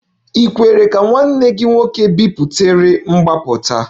E kwere ka nwanne gị nwoke biputere mgbapụta?